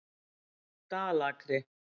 Dalakri